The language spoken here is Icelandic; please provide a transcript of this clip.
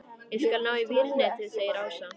Ég skal ná í vírnetið segir Ása.